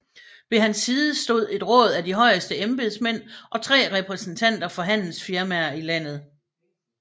Ved hans side stod et råd af de højeste embedsmænd og tre repræsentanter for handelsfirmaer i landet